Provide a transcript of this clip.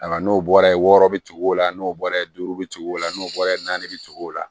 Ayiwa n'o bɔra ye wɔɔrɔ bi o la n'o bɔra ye duuru bi o la n'o bɔra naani bi cogo o la